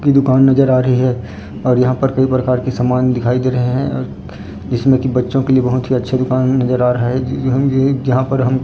दुकान नजर आ रही है और यहां पर कई प्रकार की समान दिखाई दे रहे हैं जिसमें कि बच्चों के लिए बहुत ही अच्छे दुकान नजर आ रहा है यहां ये जहां पर हमको --